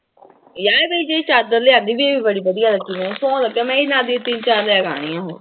ਯਾਰ ਮੇਰੀ ਜਿਹੜੀ ਚਾਦਰ ਲਿਆਂਦੀ ਸੀ ਬੜੀ ਵਧੀਆ ਲੱਗੀ, ਸਹੁੰ ਲੱਗੇ ਮੈਂ ਇਹਦੇ ਨਾਲ ਦੀਆਂ ਤਿੰਨ ਚਾਰ ਲੈ ਕੇ ਆਉਣੀਆਂ ਹੋਰ।